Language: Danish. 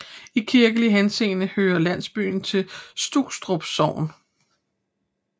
I kirkelig henseende hører landsbyen til Strukstrup Sogn